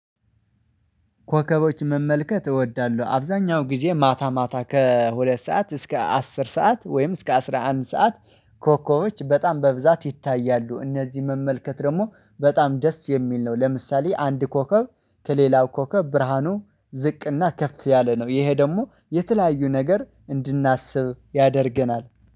ኮከቦች መመልከት እወዳለሁ አብዛኛው ጊዜ ማታ ማታ ከሁለት ሰዓት እስከ አስር ሰዓት ወይም እስከ አስራ አንድ ሰዓት። ኮኮቦች በጣም በብዛት ይታያሉ እነዚህን መመልከት ደግሞ በጣም ደስ የሚል ነው። ለምሳሌ አንድ ኮከብ ከሌላው ኮከብ ብርሃኑ ዝቅና ከፍ ያለ ነው። ይሄ ደሞ የተለያዩ ነገር እንድናስብ ያደርገናል